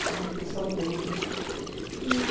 Fiquei mais tranquilo, né? E